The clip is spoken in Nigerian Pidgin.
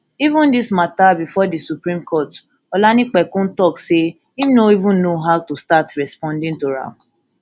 even dis mata bifor di supreme court olanipekun tok say im no even know how to start responding to am